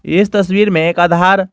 इस तस्वीर में एक आधार--